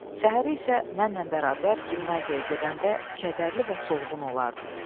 Səhərə isə mənlə bərabər gimnaziyaya gedəndə kədərli və soğuqğun olardı.